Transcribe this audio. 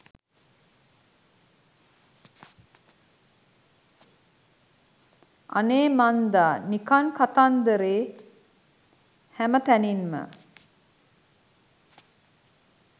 අනේ මන්දා නිකන් කතන්දරේ හැම තැනින්ම